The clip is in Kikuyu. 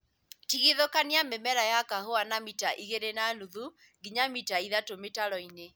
Tigithũkania mĩmera ya kahũa na mita igĩrĩ na nuthu nginya mita ithatũ mĩtaroinĩ